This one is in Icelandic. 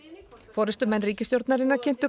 forystumenn ríkisstjórnarinnar kynntu